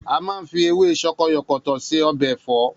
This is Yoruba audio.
A máa ń fi ewé sokoyòkòtò ṣe ọbẹ̀ ẹ̀fọ́